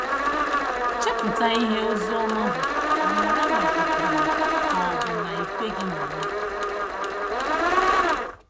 Chepụta ihe Oziọma bụ ma mara ma ị kwere ka ọ bụ na ị kweghị na ya.